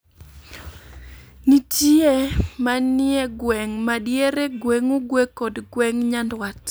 Nitiye manie gweng' ma diere, gweng' Ugwe, kod gweng' Nyandwat.